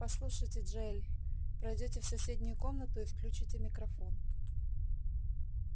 послушайте джаэль пройдёте в соседнюю комнату и включите микрофон